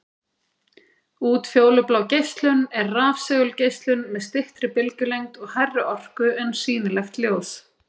Útfjólublá geislun er rafsegulgeislun með styttri bylgjulengd og hærri orku en sýnilegt ljós.